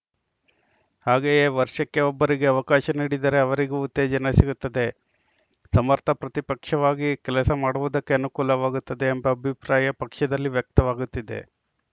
ಹಾಗೆಯೇ ವರ್ಷಕ್ಕೆ ಒಬ್ಬರಿಗೆ ಅವಕಾಶ ನೀಡಿದರೆ ಅವರಿಗೂ ಉತ್ತೇಜನ ಸಿಗುತ್ತದೆ ಸಮರ್ಥ ಪ್ರತಿಪಕ್ಷವಾಗಿ ಕೆಲಸ ಮಾಡುವುದಕ್ಕೆ ಅನುಕೂಲವಾಗುತ್ತದೆ ಎಂಬ ಅಭಿಪ್ರಾಯ ಪಕ್ಷದಲ್ಲಿ ವ್ಯಕ್ತವಾಗುತ್ತಿದೆ